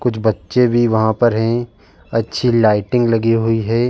कुछ बच्चे भी वहां पर है। अच्छी लाइटिंग लगी हुई है।